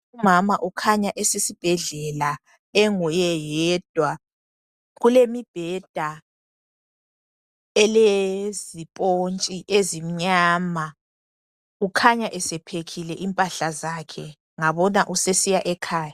Umama ukhanya esesibhedlela enguye yedwa. Kulemibheda elezipontshi ezimnyama. Ukhanya ese phekhile impahla zakhe, ngabona usesiya ekhaya